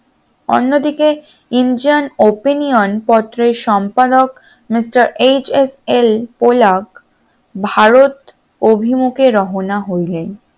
অন্যদিকে indian opinion পত্রের সম্পাদক misterHSL পলা ভারত অভিমুখে রওনা হইলেন